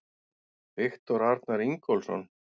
Viktor Arnar Ingólfsson